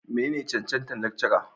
menene cancantar Lecturer?